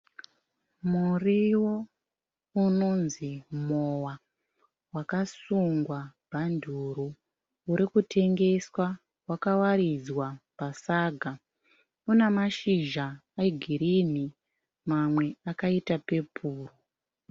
Murio unonzi mowa wakasungwa bhanduru urikutengeswa wakawaridzwa pasaga. Una mashizha egirini mamwe akaita pepuru.